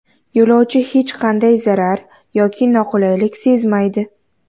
Yo‘lovchi hech qanday zarar yoki noqulaylik sezmaydi.